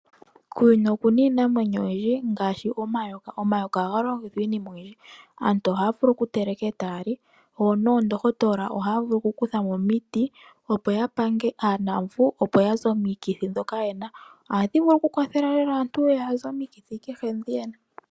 Kuuyuni oku na iinamwenyo oyindji ngaashi omayoka. Omayoka ohaga longithwa iinima oyindji. Aantu ohaya vulu okuga teleka etaya li, dho noondohotola ohaa vulu okukutha mo omiti opo ya pange aanuuvu, opo ya ze omikithi ndhoka yena. Ohadhi vulu lela okukwathela aantu ya ze omikithi kehe ndhi yena.